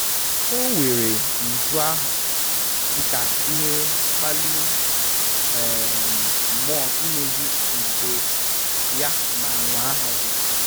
O weere nju ahụ dị ka ihe mkpali um mmụọ imezi nka ya ma nwaa ọzọ